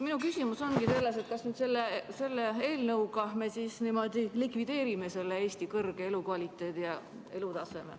Minu küsimus ongi selles, kas selle eelnõuga me likvideerime selle Eesti elukvaliteedi ja arengutaseme.